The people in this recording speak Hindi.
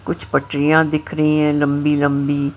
कुछ पटरियां दिख रही हैं लंबी-लंबी।